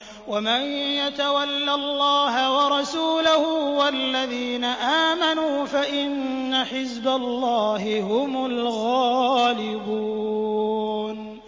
وَمَن يَتَوَلَّ اللَّهَ وَرَسُولَهُ وَالَّذِينَ آمَنُوا فَإِنَّ حِزْبَ اللَّهِ هُمُ الْغَالِبُونَ